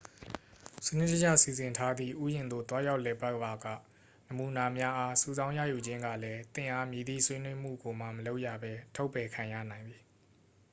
"စနစ်တကျ စီစဉ်ထားသည့် ဥယာဉ်သို့ သွားရောက်လည်ပတ်ပါက "နမူနာများအား" စုဆောင်းရယူခြင်းကလည်း သင့်အား မည်သည့်ဆွေးနွေးမှုကိုမှ မလုပ်ရဘဲ ထုတ်ပယ်ခံရနိုင်သည်။